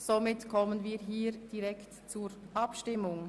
Somit kommen wir direkt zur Abstimmung.